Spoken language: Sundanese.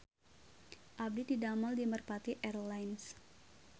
Abdi didamel di Merpati Air Lines